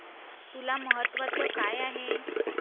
तुला महत्त्वाचं काय आहे?